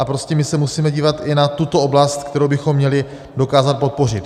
A prostě my se musíme dívat i na tuto oblast, kterou bychom měli dokázat podpořit.